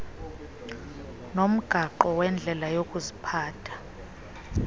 nomgaqo wendlela yokuziphatha